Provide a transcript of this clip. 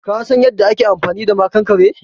Ka San yanda ake amfani da maƙankare?